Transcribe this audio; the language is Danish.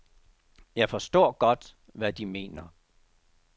Jeg forstår godt, hvad de mener.